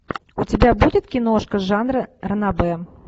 у тебя будет киношка жанра ранобэ